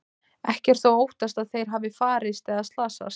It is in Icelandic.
Ekki er þó óttast að þeir hafi farist eða slasast.